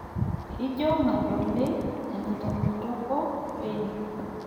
Ijo madoli enitapetoko bei?